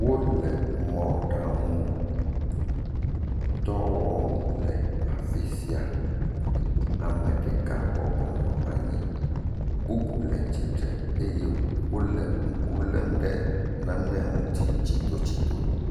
Wo le mɔɖaŋudɔ wɔm le afi sia. Ame ɖeka bɔbɔnɔ anyi. Bubu le tsitre eye wole ŋku lém ɖe nane ŋu tsi tsitotsito.